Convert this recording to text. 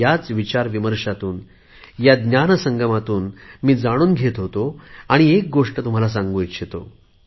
ह्या विचारविमर्शातून ह्या ज्ञान संगमातून मी जाणून घेत होतो आणि एक गोष्ट तुम्हाला सांगू इच्छितो